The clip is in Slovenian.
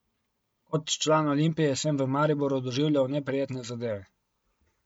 Kot član Olimpije sem v Mariboru doživljal neprijetne zadeve.